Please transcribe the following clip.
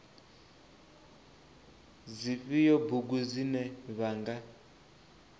dzifhio bugu dzine vha nga